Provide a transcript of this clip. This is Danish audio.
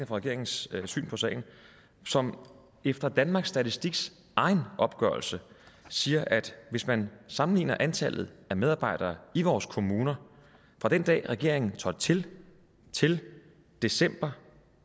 for regeringens syn på sagen som efter danmarks statistiks egen opgørelse siger at hvis man sammenligner antallet af medarbejdere i vores kommuner fra den dag regeringen trådte til til december